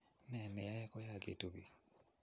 ne neyoe kuyaakitu biik?